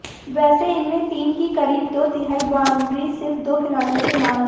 वैसे इनमें टीम की क़रीब दो तिहाई बाउंड्रीज़ सिर्फ दो खिलाड़ियों के नाम हैं